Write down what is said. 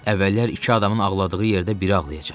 Əvvəllər iki adamın ağladığı yerdə biri ağlayacaq.